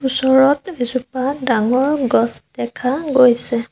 ওচৰত এজোপা ডাঙৰ গছ দেখা গৈছে।